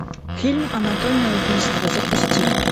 фильм анатомия убийства запусти